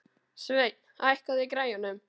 Sveinn, hækkaðu í græjunum.